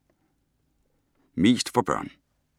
Mest for børn og unge